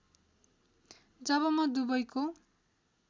जब म दुबईको